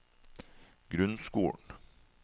grunnskolen